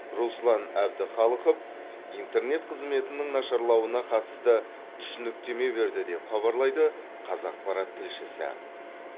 руслан әбдіхалықов интернет қызметінің нашарлауына қатысты түсініктеме берді деп хабарлайды қазақпарат тілшісі